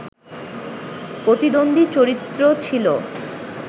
প্রতিদ্বন্দী চরিত্র ছিল